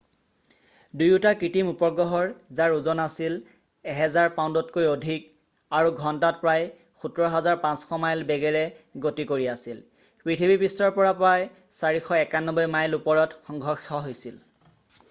দুয়োটা কৃত্ৰিম উপগ্ৰহৰ যাৰ ওজন 1,000 পাউণ্ডতকৈ অধিক আছিল আৰু ঘণ্টাত প্ৰায় 17 500 মাইল বেগেৰে গতি কৰি আছিল পৃথিৱীপৃষ্ঠৰ পৰা প্ৰায় 491 মাইল ওপৰত সংঘৰ্ষ হৈছিল